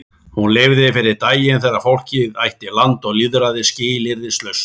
Hún lifði fyrir daginn þegar fólkið ætti land og lýðræði skilyrðislaust.